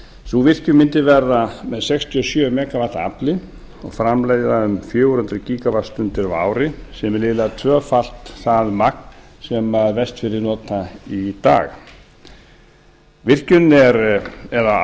sú virkjun mundi verða með sextíu og sjö megavatta afli og framleiða um fjögur hundruð gígavattstundir á ári sem er liðlega tvöfalt það magn sem vestfirðir nota í dag virkjunin eða